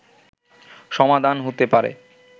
সমাধান হতে পারে